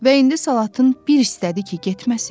Və indi Salatın bir istədi ki, getməsin.